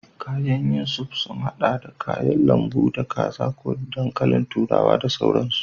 Kayan yin soup sun haɗa da kayan lambu, da kaza ko da dankalin turawa da sauransu.